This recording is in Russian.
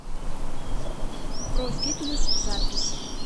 профитнес запись